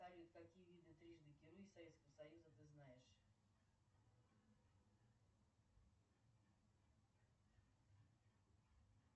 салют какие виды трижды герой советского союза ты знаешь